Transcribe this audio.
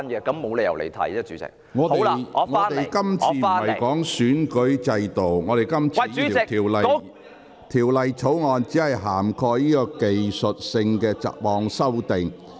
鄭議員，這項辯論的議題並非關乎選舉制度，而是有關《條例草案》涵蓋的若干技術性雜項修訂。